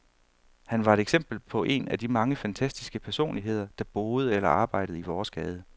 Han var et eksempel på en af de mange fantastiske personligheder, der boede eller arbejdede i vores gade.